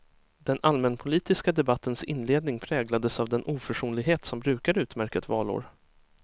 Den allmänpolitiska debattens inledning präglades av den oförsonlighet som brukar utmärka ett valår.